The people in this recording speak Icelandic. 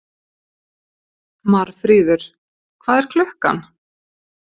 Marfríður, hvað er klukkan?